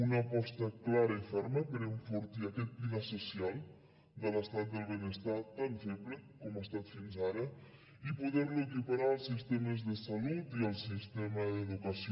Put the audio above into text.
una aposta clara i ferma per enfortir aquest pilar social de l’estat del benestar tan feble com ha estat fins ara i poder lo equiparar als sistemes de salut i al sistema d’educació